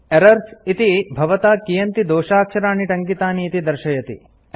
errors - इति भवता कियन्ति दोषाक्षराणि टङ्कितानि इति दर्शयति